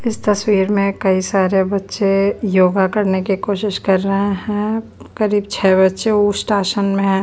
इस तस्वीर में कई सारे बच्चे योगा करने की कोशिश कर रहे हैं करीब छह बच्चे उष्टा आसान में है।